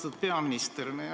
Austatud peaminister!